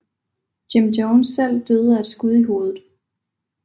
Jim Jones selv døde af et skud i hovedet